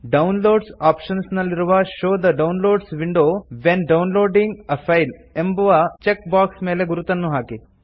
downloads options ನಲ್ಲಿರುವ show the downloads window when downloading a file ಎಂಬುವ check box ಮೇಲೆ ಗುರುತನ್ನು ಹಾಕಿ